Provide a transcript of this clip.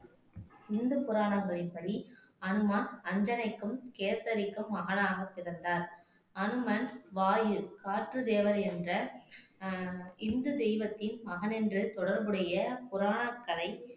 இந்து புராணங்களின் படி அணுமான் அஞ்சனைக்கும் கேசரிக்கும் மகனாகப் பிறந்தார் அனுமன் வாயு காற்று தேவர் என்ற ஆஹ் இந்து தெய்வத்தின் மகன் என்று தொடர்புடைய புராணக்கதை